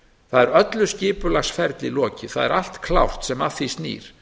það er öllu skipulagsferli lokið það er allt klárt sem að því sný